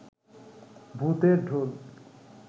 ভূতের ঢোল